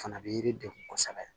Fana bɛ yiri degun kosɛbɛ